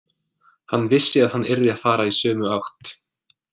Hann vissi að hann yrði að fara í sömu átt.